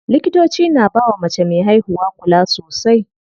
Likitoci na bawa mace me haihuwa kula sosai.